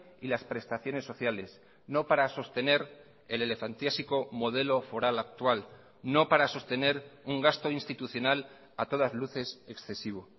y las prestaciones sociales no para sostener el elefantiásico modelo foral actual no para sostener un gasto institucional a todas luces excesivo